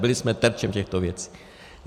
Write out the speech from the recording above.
Byli jsme terčem těchto věcí.